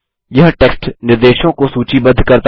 यह टेक्स्ट निर्देशों को सूचीबद्ध करता है